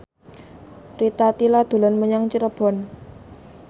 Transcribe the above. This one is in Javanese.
Rita Tila dolan menyang Cirebon